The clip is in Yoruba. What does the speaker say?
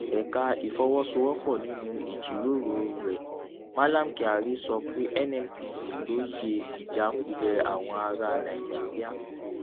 ẹka ìfọwọsowópọ nínú ìjíròrò rẹ mallam kyari sọ pé nnpc lóye ìjákulẹ àwọn ará nàìjíríà